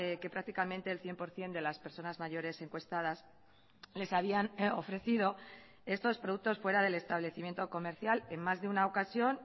que prácticamente el cien por ciento de las personas mayores encuestadas les habían ofrecido estos productos fuera del establecimiento comercial en más de una ocasión